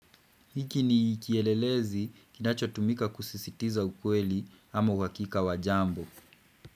Hiki ni kielelezi kinacho tumika kusisitiza ukweli ama uakika wajambo.